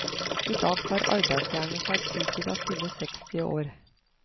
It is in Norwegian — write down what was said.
I dag tar arbeidsjernet seg tid til å fylle seksti år.